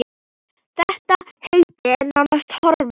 Þetta heiti er nánast horfið.